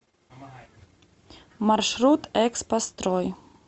маршрут экспострой